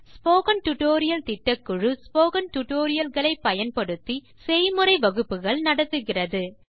spoken tutorial திட்டக்குழு spoken tutorial களை பயன்படுத்தி செய்முறை வகுப்புகள் நடத்துகிறது